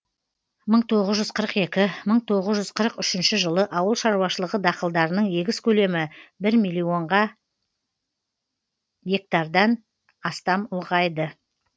мың тоғыз жүз қырық екі мың тоғыз жүз қырық үшінші жылы ауыл шаруашылығы дақылдарының егіс көлемі бір миллионға гектардан астам ұлғайды